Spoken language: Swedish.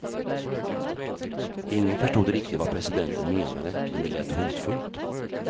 Ingen förstod riktigt vad presidenten menade, men det lät hotfullt.